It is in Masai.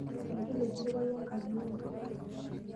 Migil esiripai enkaji ero.